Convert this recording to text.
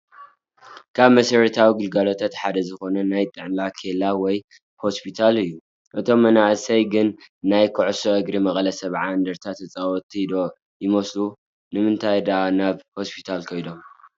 ካብ መሰረታዊ ግልጋሎታት ሓደ ዝኾነ ናይ ጥዕና ኬላ ወይ ሆስፒታል እዩ፡፡ እቶም መናእሰይ ግን ናይ ኩዕሶ እግሪ መቐለ 70 እንደርታ ተፃወቲ ዶ ይመስሉ? ንምንታይ ዳኣ ናብ ሆስፒታል ከይዶም?